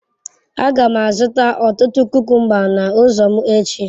Aga m azụta ọtụtụ kukumba n'ụzọ m echi.